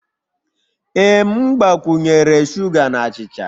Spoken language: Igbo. Ee m gbakwunyere sugar na achịcha.